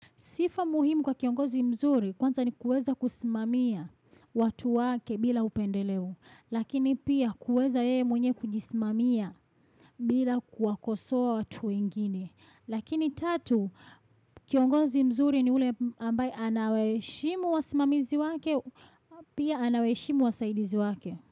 Sifa muhimu kwa kiongozi mzuri kwanza ni kueza kusimamia watu wake bila upendeleo. Lakini pia kueza yeye mwenye kujisimamia bila kuwakosowa watu wengine. Lakini tatu kiongozi mzuri ni ule ambaye anawaheshimu wasimamizi wake pia anawaheshimu wasaidizi wake.